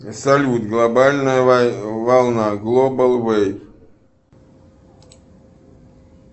салют глобальная волна глобал вэйв